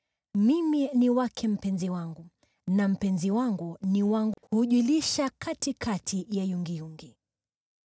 Mimi ni wake mpenzi wangu, na mpenzi wangu ni wangu; yeye hujilisha katikati ya yungiyungi.